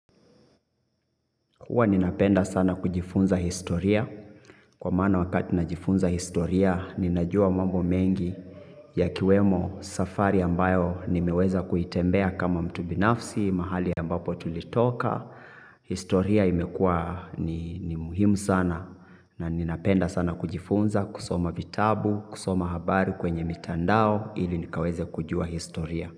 Huwa ninapenda sana kujifunza historia, kwa maana wakati ninajifunza historia, ninajua mambo mengi yakiwemo safari ambayo nimeweza kuitembea kama mtu binafsi, mahali ambapo tulitoka. Historia imekuwa ni muhimu sana na ninapenda sana kujifunza, kusoma vitabu, kusoma habari kwenye mitandao ili nikaweze kujua historia.